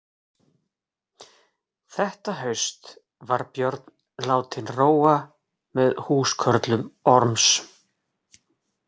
Þetta haust var Björn látinn róa með húskörlum Orms.